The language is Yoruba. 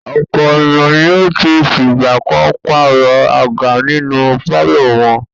Ọ̀pọ̀ ènìyàn ni ó ti fìgbà kan pàrọ̀ àga inú pálọ̀ wọn.